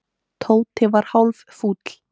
Tóti var hálffúll.